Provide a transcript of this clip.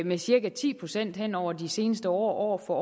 med cirka ti procent hen over de seneste år og